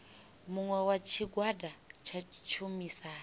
muṅwe wa tshigwada tsha tshumisano